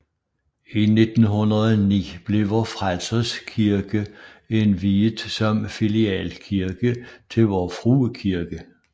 I 1909 blev Vor Frelsers Kirke indviet som filialkirke til Vor Frue Kirke